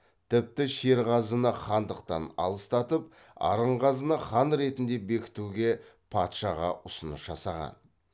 тіпті шерғазыны хандықтан аластатып арынғазыны хан ретінде бекітуге патшаға ұсыныс жасаған